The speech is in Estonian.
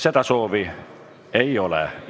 Seda soovi ei ole.